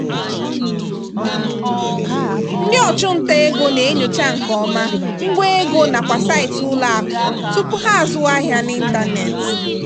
ndị ọchụnta ego na-enyocha nke ọma ngwa ego nakwa saịtị ụlọakụ tupu ha azụwa ahịa n'ịntanetị.